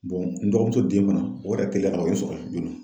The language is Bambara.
n dɔgɔmuso den fana o yɛrɛ teliyara o ye n sɔrɔ yen joona.